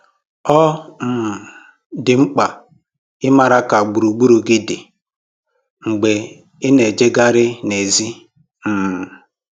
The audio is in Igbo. Ọ um dị mkpa ịmara ka gburugburu gị dị mgbe ị na-ejegharị n'èzí um